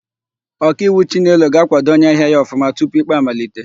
Ọkaiwu Chinelo ga-àkwádo onyeahịa ya ọfụma tupu ikpe amalite.